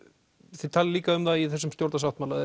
þið talið líka um það í þessum stjórnarsáttmála